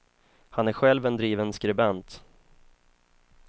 Han är själv en driven skribent.